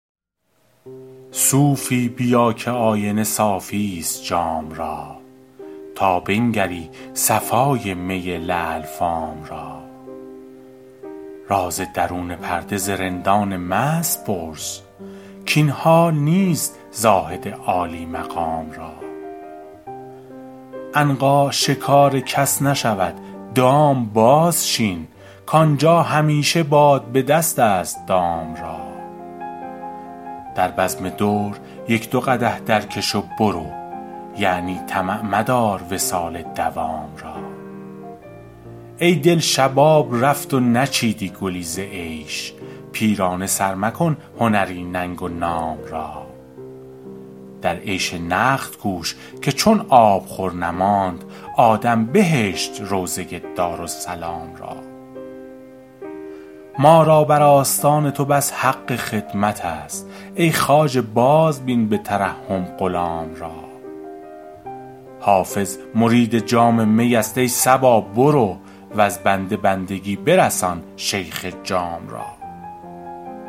صوفی بیا که آینه صافی ست جام را تا بنگری صفای می لعل فام را راز درون پرده ز رندان مست پرس کاین حال نیست زاهد عالی مقام را عنقا شکار کس نشود دام بازچین کآنجا همیشه باد به دست است دام را در بزم دور یک دو قدح درکش و برو یعنی طمع مدار وصال مدام را ای دل شباب رفت و نچیدی گلی ز عیش پیرانه سر مکن هنری ننگ و نام را در عیش نقد کوش که چون آبخور نماند آدم بهشت روضه دارالسلام را ما را بر آستان تو بس حق خدمت است ای خواجه بازبین به ترحم غلام را حافظ مرید جام می است ای صبا برو وز بنده بندگی برسان شیخ جام را